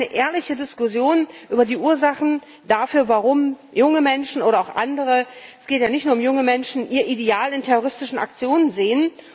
Wir brauchen eine ehrliche Diskussion über die Ursachen dafür, warum junge Menschen oder auch andere es geht ja nicht nur um junge Menschen ihr Ideal in terroristischen Aktionen sehen.